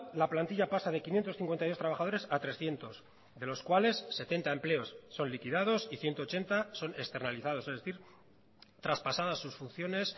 la plantilla pasa de quinientos cincuenta y dos trabajadores a trescientos de los cuales setenta empleos son liquidados y ciento ochenta son externalizados es decir traspasadas sus funciones